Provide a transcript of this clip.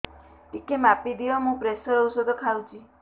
ଟିକେ ମାପିଦିଅ ମୁଁ ପ୍ରେସର ଔଷଧ ଖାଉଚି